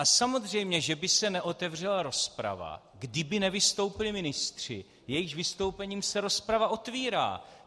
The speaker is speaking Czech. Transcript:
A samozřejmě že by se neotevřela rozprava, kdyby nevystoupili ministři, jejichž vystoupením se rozprava otvírá.